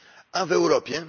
A w Europie?